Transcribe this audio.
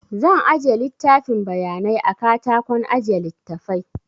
Zan aje littafin bayanai a katakon aje littafai